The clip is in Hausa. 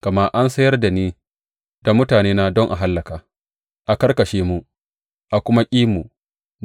Gama an sayar da ni da mutanena don a hallaka, a karkashe mu, a kuma ƙi mu.